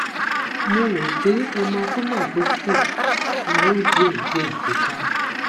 mo rò pé hematoma tó kù ni yóò díẹdíẹ túká